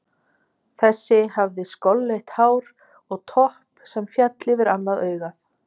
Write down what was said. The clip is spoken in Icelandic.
Þessi hafði skolleitt hár og topp sem féll yfir annað augað.